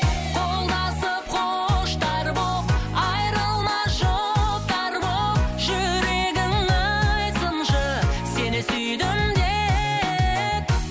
қолдасып құштар боп айырылмас жұптар боп жүрегің айтсыншы сені сүйдім деп